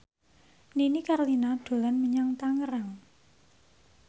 Nini Carlina dolan menyang Tangerang